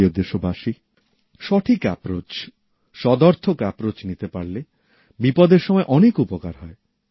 আমার প্রিয় দেশবাসীরা সঠিক পদক্ষেপ সদর্থক পদক্ষেপ নিতে পারলে বিপদের সময় অনেক উপকার হয়